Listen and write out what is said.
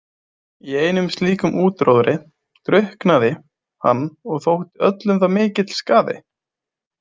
Í einum slíkum útróðri drukknaði hann og þótti öllum það mikill skaði.